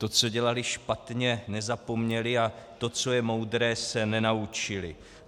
To, co dělali špatně, nezapomněli a to, co je moudré, se nenaučili.